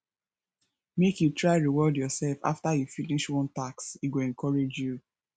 make you try reward yoursef after you finish one task e go encourage you